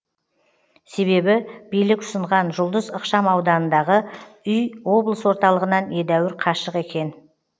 себебі билік ұсынған жұлдыз ықшамауданындағы үй облыс орталығынан едәуір қашық екен